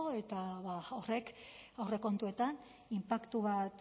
eta horrek aurrekontuetan inpaktu bat